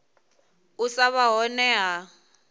u sa vha hone ha